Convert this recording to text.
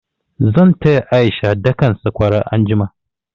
Zan taya A'isha dakan sakwara anjima.